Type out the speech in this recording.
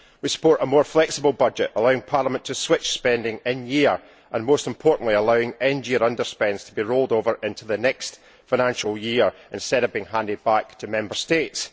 We support a more flexible budget allowing Parliament to switch spending in year and, most importantly, allowing end year under spends to be rolled over into the next financial year instead of being handed back to Member States.